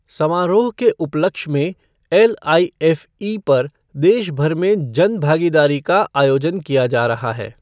समारोह के उपलक्ष्य में एलआईएफ़ई पर देश भर में जन भागीदारी का आयोजन किया जा रहा है।